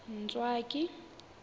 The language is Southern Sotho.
ntswaki